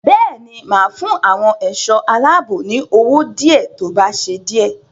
Bẹ́ẹ̀ ni, máa fún àwọn ẹ̀ṣọ́ aláàbò ní owó díẹ̀ tó bá ṣe díè.